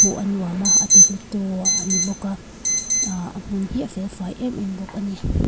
hmuh a nuam a a ti hlu tu a ni bawk a a hmun hi a felfai em em bawk ani.